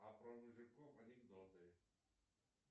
а про мужиков анекдоты